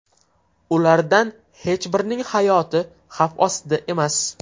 Ulardan hech birining hayoti xavf ostida emas.